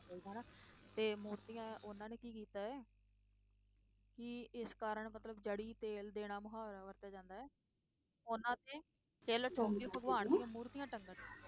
ਤੇ ਮੂਰਤੀਆਂ ਉਹਨਾਂ ਨੇ ਕੀ ਕੀਤਾ ਹੈ ਕਿ ਇਸ ਕਾਰਨ ਮਤਲਬ ਜੜੀ ਤੇਲ ਦੇਣਾ ਮੁਹਾਵਰਾ ਵਰਤਿਆ ਜਾਂਦਾ ਹੈ, ਉਹਨਾ ਤੇ ਕਿੱਲ ਠੋਕ ਕੇ ਭਗਵਾਨ ਦੀਆਂ ਮੂਰਤੀਆਂ ਟੰਗਣ